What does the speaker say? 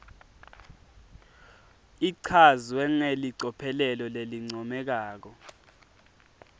ichazwe ngelicophelo lelincomekako